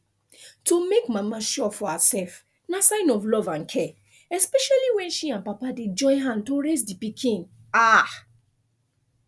to make mama sure for herself na sign of love and care especially when she and papa dey join hand to raise the pikin ah